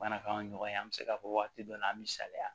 Bana k'an ɲɔgɔn ye an bɛ se k'a fɔ waati dɔ la an bɛ saliya